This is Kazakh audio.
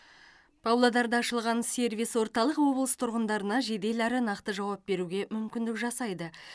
павлодарда ашылған сервис орталық облыс тұрғындарына жедел әрі нақты жауап беруге мүмкіндік жасайды